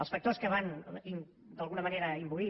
els factors que van d’alguna manera imbuir